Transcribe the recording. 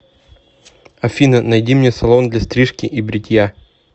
афина найди мне салон для стрижки и бритья